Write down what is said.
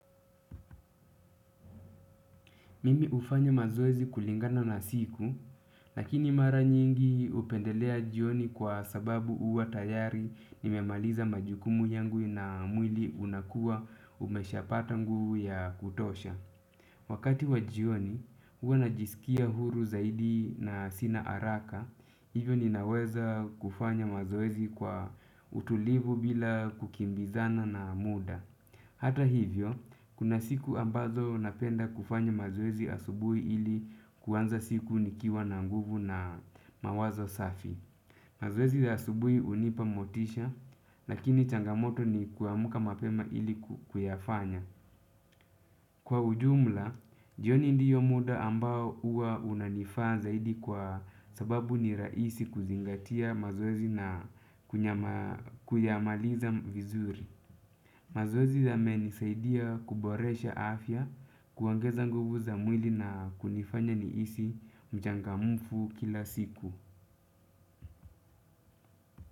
Mimi hufanya mazoezi kulingana na siku, lakini mara nyingi hupendelea jioni kwa sababu huwa tayari nimemaliza majukumu yangu na mwili unakuwa umeshapata nguvu ya kutosha. Wakati wa jioni, huwa najisikia huru zaidi na sina haraka, hivyo ninaweza kufanya mazoezi kwa utulivu bila kukimbizana na muda. Hata hivyo, kuna siku ambazo napenda kufanya mazoezi asubuhi ili kuanza siku nikiwa na nguvu na mawazo safi. Mazoezi ya asubuhi hunipa motisha, lakini changamoto ni kuamka mapema ili kuyafanya. Kwa ujumla, jioni ndiyo muda ambao huwa unanifaa zaidi kwa sababu ni rahisi kuzingatia mazoezi na kuyamaliza vizuri. Mazoezi yamenisaidia kuboresha afya kuongeza nguvu za mwili na kunifanya nihisi mchangamfu kila siku.